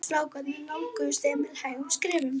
Strákarnir nálguðust Emil hægum skrefum.